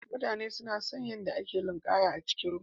Mutane suna son kallon yadda ake linƙaya a cikin ruwa.